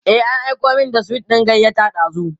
e an Aiko min da sweet ɗin gayyata dazun